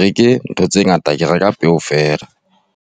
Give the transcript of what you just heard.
reke ntho tse ngata, ke reka peo fela.